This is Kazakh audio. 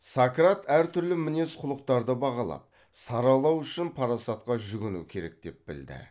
сократ әр түрлі мінез құлықтарды бағалап саралау үшін парасатқа жүгіну керек деп білді